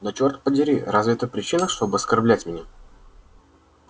да черт подери разве это причина чтобы оскорблять меня